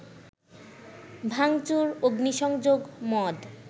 ভাঙচুর, অগ্নিসংযোগ, মদ